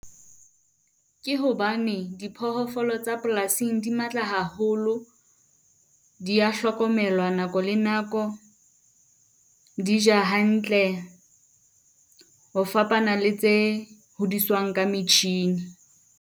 Ke hobane diphoofolo tsa polasing di matla haholo, di ya hlokomelwa nako le nako, di ja hantle, ho fapana le tse hodiswang ka metjhini.